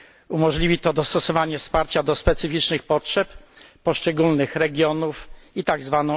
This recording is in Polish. Umożliwi to dostosowanie wsparcia do specyficznych potrzeb, poszczególnych regionów i tzw.